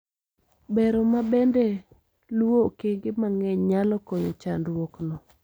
Bero ma bende luo okenge mang'eny nyalo konyo chandruok no